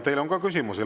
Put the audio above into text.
Teile on ka küsimusi.